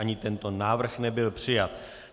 Ani tento návrh nebyl přijat.